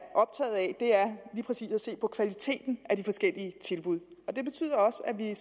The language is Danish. lige præcis at se på kvaliteten af de forskellige tilbud det betyder også at vi